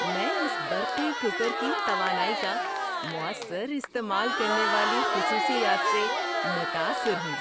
میں اس برقی کوکر کی توانائی کا مؤثر استعمال کرنے والی خصوصیات سے متاثر ہوں!